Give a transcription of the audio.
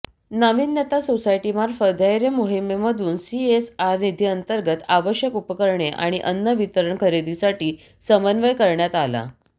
नाविन्यता सोसायटीमार्फत धैर्य मोहीमेमधून सीएसआर निधीअंतर्गत आवश्यक उपकरणे आणि अन्न वितरण खरेदीसाठी समन्वय करण्यात आला